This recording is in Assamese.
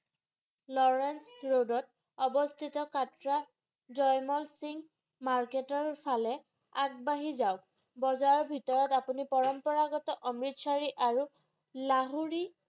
Lorence Road ত অবস্থিত কাটৰা জাইমল সিংহ Market ৰ ফালে আগবাহী যাওক বজাৰৰ ভিতৰত আপুনি পৰম্পৰাগত অমৃতসৰি আৰু লাহুৰি